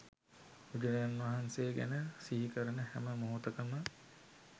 බුදුරජාණන් වහන්සේ ගැන සිහි කරන හැම මොහොතකම